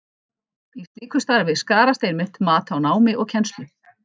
Í slíku starfi skarast einmitt mat á námi og kennslu.